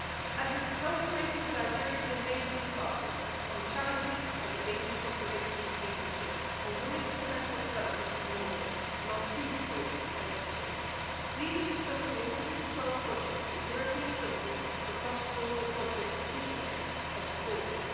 By cooperating with our European neighbours and partners on challenges of an ageing population in Cambridgeshire, on women's professional development in Norfolk and on food waste in Bedfordshire, these are just some of the 112 projects that European funding for cross border projects Interreg have supported.